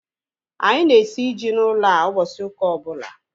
Anyị na-esi ji n'ụlọ a ụbọchị ụka ọbụla